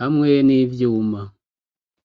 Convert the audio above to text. hamwe n'ivyuma